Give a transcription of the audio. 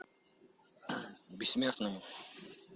бессмертные